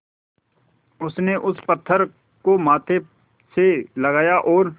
उसने उस पत्थर को माथे से लगाया और